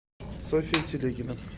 софья телегина